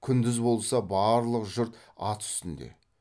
күндіз болса барлық жұрт ат үстінде